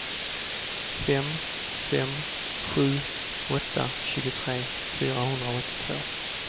fem fem sju åtta tjugotre fyrahundraåttiotvå